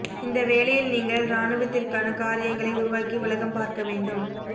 இந்த வேலையில் நீங்கள் இராணுவத்திற்கான காரியங்களை உருவாக்கி உலகம் பார்க்க வேண்டும்